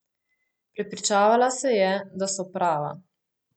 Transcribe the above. Prepričevala se je, da so prava.